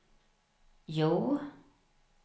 Hjo